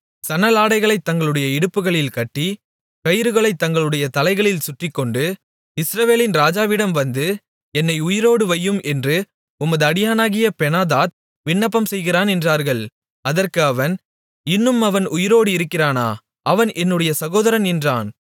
சணலாடைகளைத் தங்களுடைய இடுப்புகளில் கட்டி கயிறுகளைத் தங்களுடைய தலைகளில் சுற்றிக்கொண்டு இஸ்ரவேலின் ராஜாவிடம் வந்து என்னை உயிரோடு வையும் என்று உமது அடியானாகிய பெனாதாத் விண்ணப்பம்செய்கிறான் என்றார்கள் அதற்கு அவன் இன்னும் அவன் உயிரோடு இருக்கிறானா அவன் என்னுடைய சகோதரன் என்றான்